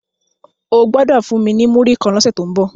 O gbodo fún mí ní Muri kán lọ se to ńbo!